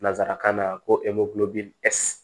Nansarakan na ko